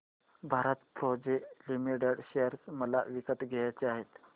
Bharat Forge Limited share मला विकत घ्यायचे आहेत